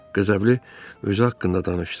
Qəzəbli özü haqqında danışdı.